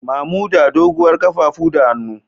Mamuda doguwar kafafu da hannu.